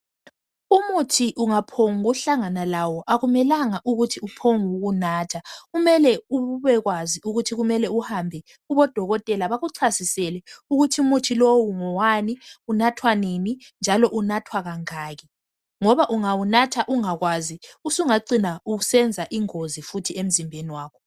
Umuthi ungaphombu kuhlangana lawo akumelanga ukuthi uphombu kuwunatha kumele ubekwazi ukuthi kumele uhambe kubodokotela bakuchasisele ukuthi umuthi lowu ngowani unathwa nini njalo unathwa kangaki. Ngoba ungawunatha ungakwazi usungacina usenza ingozi futhi emzimbeni wakho.